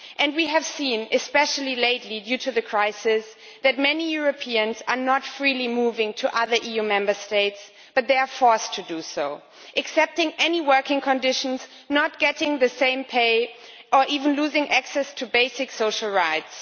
We have seen especially lately, due to the crisis that many Europeans are not freely moving to other EU Member States, but are forced to do so accepting any working conditions, not getting the same pay, or even losing access to basic social rights.